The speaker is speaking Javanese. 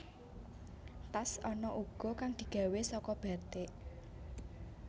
Tas ana uga kang digawé saka bathik